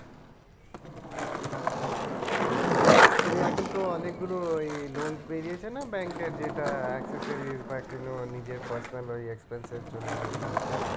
ওই এখন তো অনেকগুলো এই loans বেরিয়েছে না bank এর যেটা accessories বা নিজের personal কোনো expense এর জন্য যদি নিতে হয়ে